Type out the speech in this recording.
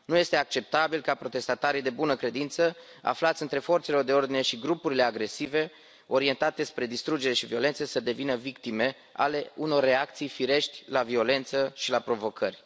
Nu este acceptabil ca protestatarii de bună credință, aflați între forțele de ordine și grupurile agresive orientate spre distrugere și violență să devină victime ale unor reacții firești la violență și la provocări.